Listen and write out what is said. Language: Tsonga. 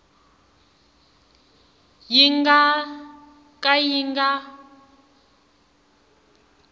yi nga ka yi nga